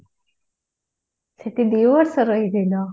ସେଠି ଦି ବର୍ଷ ରହିଥିଲ?